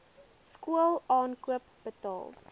skool aankoop betaal